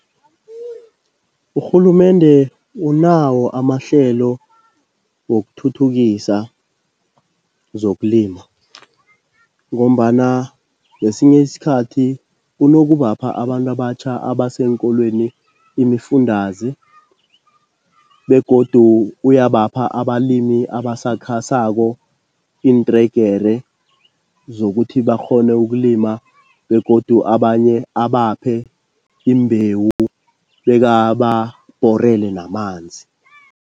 Urhulumende unawo amahlelo wokuthuthukisa zokulima ngombana ngesinye isikhathi unokubapha abantu abatjha abaseenkolweni imifundaze begodu uyabapha abalimi abasakhasako iintregere zokuthi bakghone ukulima begodu abanye abaphe iimbewu bekababhorele namanzi.